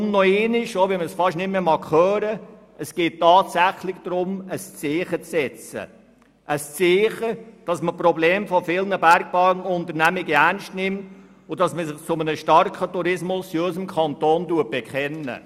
Deshalb geht es hier tatsächlich darum, zu zeigen, dass man das Problem von vielen Bergbahnunternehmungen ernst nimmt und sich zu einem starken Tourismus in unserem Kanton bekennt.